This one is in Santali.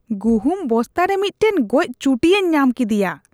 ᱜᱩᱦᱩᱢ ᱵᱚᱥᱛᱟ ᱨᱮ ᱢᱤᱫᱴᱟᱝ ᱜᱚᱡ ᱪᱩᱴᱧᱟᱹᱧ ᱧᱟᱢ ᱠᱤᱫᱤᱭᱟ ᱾